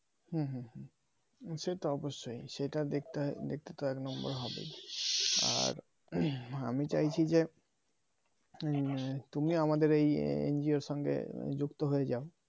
হুম হুম হুম সে তো অবশ্যই সেটা দেখতে দেখতে এক নম্বর হবেই আর আমি চাইছি যে হম তুমি আমাদের এই NGO র সঙ্গে যুক্ত হয়ে যাও